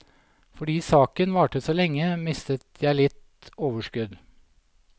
Fordi saken varte så lenge, mistet jeg litt overskudd.